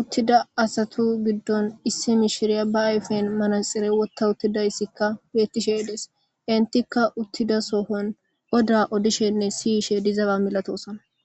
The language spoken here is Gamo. uththida asathu giddon issi mishiriya ba ayfen manatsire withthawuththidaysikka beeththishee des; henththikka uththida sohuwan odaa odisheenne siyishee diizabaa milathoosona.